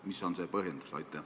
Mis on põhjendus?